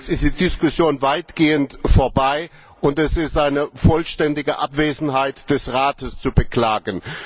Jetzt ist die Diskussion weitgehend vorbei, und es ist eine vollständige Abwesenheit des Rates zu beklagen.